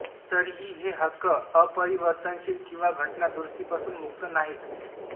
तरीही हे हक्क अपरिवर्तनशील किंवा घटनादुरुस्तीपासून मुक्त नाहीत